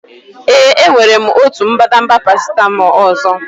Ee, enwere m otu mbadamba paracetamol ọzọ.